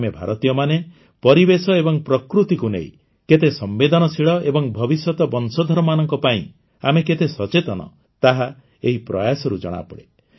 ଆମେ ଭାରତୀୟମାନେ ପରିବେଶ ଏବଂ ପ୍ରକୃତିକୁ ନେଇ କେତେ ସମ୍ବେଦନଶୀଳ ଏବଂ ଭବିଷ୍ୟତ ବଂଶଧରମାନଙ୍କ ପାଇଁ ଆମେ କେତେ ସଚେତନ ତାହା ଏହି ପ୍ରୟାସରୁ ଜଣାପଡ଼େ